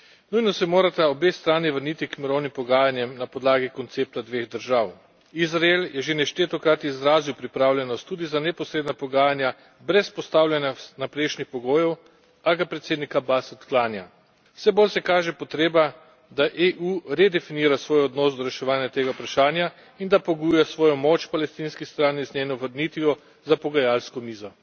Nujno se morata obe strani vrniti k mirovnim pogajanjem na podlagi koncepta dveh držav. Izrael je že nešteto krat izrazil pripravljenost tudi za neposredna pogajanja, brez postavljanja vnaprejšnjih pogojev, a ga predsednik Abas odklanja. Vse bolj se kaže potreba, da EU redefinira svoj donos do reševanja tega vprašanja in da pogojuje svojo pomoč palestinski strani z njeno vrnitvijo za pogajalsko mizo.